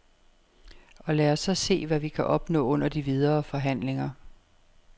Og lad os så se, hvad vi kan opnå under de videre forhandlinger.